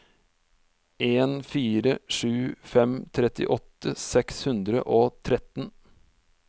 en fire sju fem trettiåtte seks hundre og tretten